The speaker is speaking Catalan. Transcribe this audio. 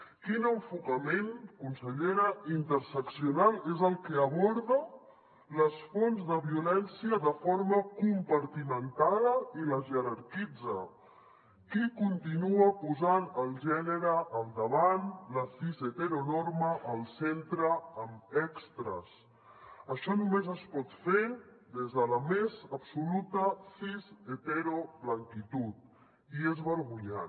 quin enfocament consellera interseccional és el que aborda les fonts de violència de forma compartimentada i les jerarquitza qui continua posant el gènere al davant la cisheteronorma al centre amb extres això només es pot fer des de la més absoluta cisheteroblanquitud i és vergonyant